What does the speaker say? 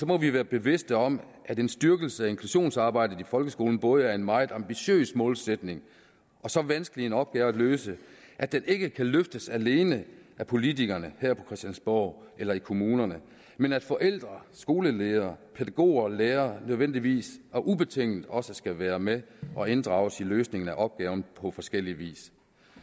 må vi være bevidste om at en styrkelse af inklusionsarbejdet i folkeskolen både er en meget ambitiøs målsætning og så vanskelig en opgave at løse at den ikke kan løftes alene af politikerne her på christiansborg eller i kommunerne men at forældre skoleledere pædagoger og lærere nødvendigvis og ubetinget også skal være med og inddrages i løsningen af opgaven på forskellig vis